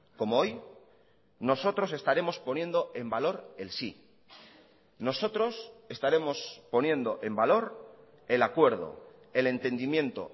como hoy nosotros estaremos poniendo en valor el sí nosotros estaremos poniendo en valor el acuerdo el entendimiento